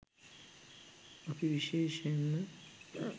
අප විශේෂයෙන්ම